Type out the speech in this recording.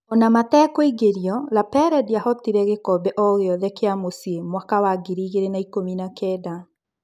Ona metekũingĩrio, Lapele ndiahotire gĩkombe o-gĩothe kĩa mũciĩ mwaka wa ngiri igĩrĩ na ikũmi nakenda.